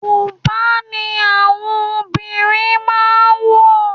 Bùbá ni àwọn obìnrin máà ń wọ̀.